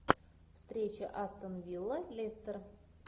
встреча астон вилла лестер